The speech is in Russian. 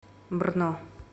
брно